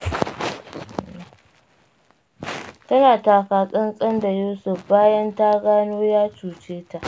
Tana taka-tsantsan da Yusuf bayan ta gano ya cuce ta.